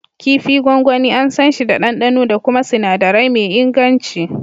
Kifi gwangwani, an sanshi da ɗanɗano da kuma sinadirai me inganci.